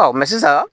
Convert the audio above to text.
sisan